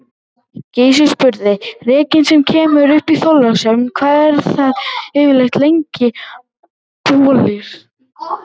Gizur spurði:-Rekinn sem kemur upp í Þorlákshöfn, hvað eru það yfirleitt langir bolir?